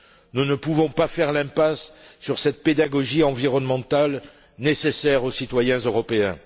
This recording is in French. Nous ne pouvons pas faire l'impasse sur cette pédagogie environnementale nécessaire aux citoyens européens.